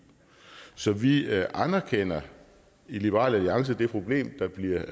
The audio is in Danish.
så vi anerkender i liberal alliance det problem der bliver